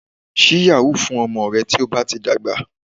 Ṣí yahoo fún ọmọ rẹ tí ó bá ti dàgbà